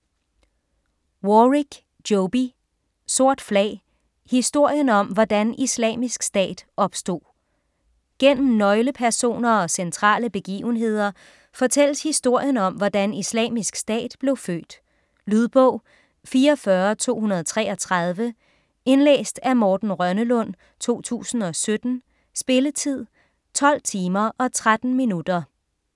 Warrick, Joby: Sort flag: historien om hvordan Islamisk Stat opstod Gennem nøglepersoner og centrale begivenheder fortælles historien om hvordan Islamisk Stat blev født. Lydbog 44233 Indlæst af Morten Rønnelund, 2017. Spilletid: 12 timer, 13 minutter.